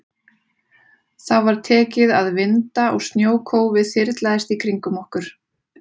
Þá var tekið að vinda og snjókófið þyrlaðist í kringum okkur.